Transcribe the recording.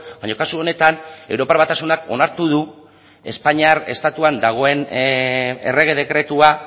baina kasu honetan europar batasunak onartu du espainiar estatuan dagoen errege dekretua